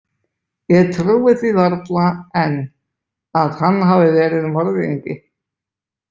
Ég trúi því varla enn að hann hafi verið morðingi.